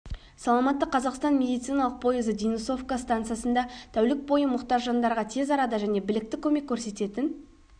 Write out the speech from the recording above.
саламатты қазақстан медициналық пойызы денисовка станциясында тәулік бойы мұқтаж жандарға тез арада және білікті көмек көрсететін